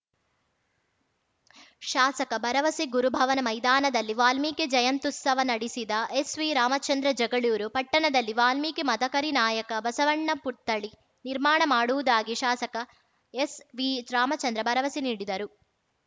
ಶಾಸಕ ಭರವಸೆ ಗುರುಭವನ ಮೈದಾನದಲ್ಲಿ ವಾಲ್ಮೀಕಿ ಜಯಂತ್ಯುತ್ಸವ ಉದ್ಘಾಟಿಸಿದ ಎಸ್‌ವಿರಾಮಚಂದ್ರ ಜಗಳೂರು ಪಟ್ಟಣದಲ್ಲಿ ವಾಲ್ಮೀಕಿ ಮದಕರಿನಾಯಕ ಬಸವಣ್ಣ ಪುತ್ಥಳಿ ನಿರ್ಮಾಣ ಮಾಡುವುದಾಗಿ ಶಾಸಕ ಎಸ್‌ವಿರಾಮಚಂದ್ರ ಭರವಸೆ ನೀಡಿದರು